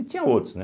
E tinha outros, né?